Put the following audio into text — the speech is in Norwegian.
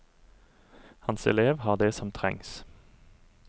Hans elev har det som trengs.